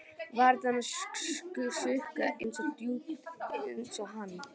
Varir hennar sukku ekki eins djúpt og hans.